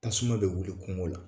Tasuma bɛ wuli kungo la